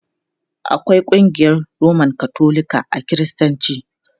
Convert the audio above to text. Akwai ƙungiyar Roman Katolika a Kiristanci.